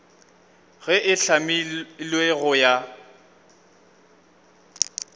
ge e hlamilwe go ya